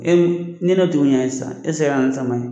ni ne tun sisan e tise ka na na ni sama ye.